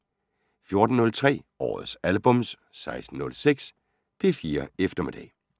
14:03: Årets albums 16:06: P4 Eftermiddag